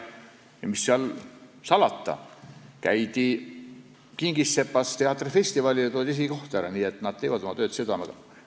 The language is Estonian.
Mis seal salata, käidi Kingissepas teatrifestivalil ja toodi esikoht ära, nii et nad teevad oma tööd südamega.